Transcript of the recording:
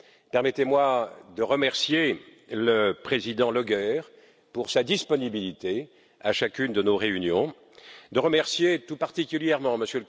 Permettez moi de remercier le président Hartwig Löger pour sa disponibilité à chacune de nos réunions, de remercier tout particulièrement M.